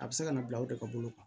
A bɛ se ka na bila o de ka bolo kan